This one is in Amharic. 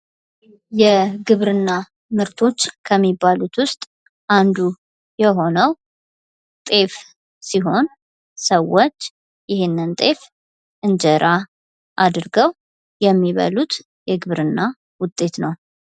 የግብርና ምርቶች መካከል ዉስጥ አንዱ የሆነው ጤፍ ሲሆን ሰዎች ይህንን ጤፍ እንጀራ አንድርገው የሚበሉት የግብርና ዉጤት ነው።